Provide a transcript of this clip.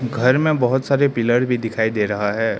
घर में बहुत सारे पिलर भी दिखाई दे रहा है।